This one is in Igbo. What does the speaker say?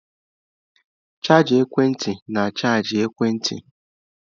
Chaja ekwentị na-achaji ekwentị.